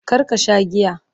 kar ka Sha giya!